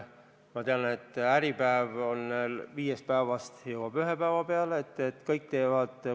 Ma tean, et Äripäev hakkab ilmuma viie päeva asemel ühel päeval.